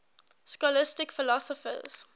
scholastic philosophers